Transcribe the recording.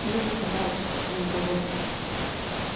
кьюти казалось был доволен